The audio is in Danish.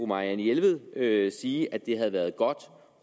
marianne jelved sige at det havde været godt om